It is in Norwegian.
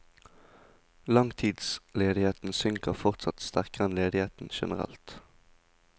Langtidsledigheten synker fortsatt sterkere enn ledigheten generelt.